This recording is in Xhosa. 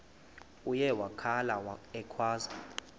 uye wakhala ekhwaza